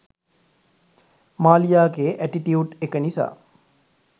මාලියාගේ attitude එක නිසා